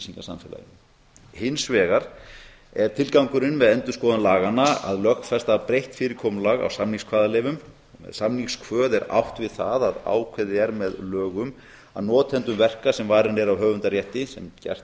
upplýsingasamfélaginu hins vegar er tilgangurinn með endurskoðun laganna að lögfesta breytt fyrirkomulag á samningskvaðaleyfum og með samningskvaða er átt við að ákveðið er með lögum að notendur verka sem varin eru af höfundarétti sem gert